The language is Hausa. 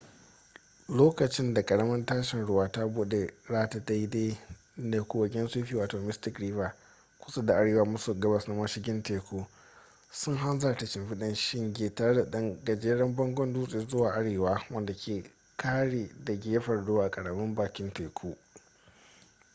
lokacin da karamin tashin ruwa ta bude rata daidai da kogin sufi wato mystic river kusa da arewa maso gabas na mashigin teku sun hanzarta shimfiɗa shinge tare da ɗan gajeren bangon dutse zuwa arewa wanda ke ƙare da gefen ruwa a karamin bakin teku